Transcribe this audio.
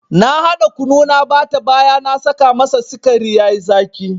Na hada kunu na bata baya na saka masa sikari yayi zaki.